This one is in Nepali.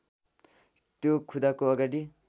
त्यो खुदाको अगाडि